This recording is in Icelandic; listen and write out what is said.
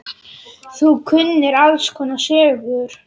Þú kunnir alls konar sögur.